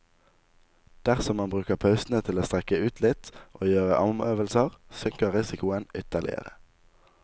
Dersom man bruker pausene til å strekke ut litt, og gjøre armøvelser, synker risikoen ytterligere.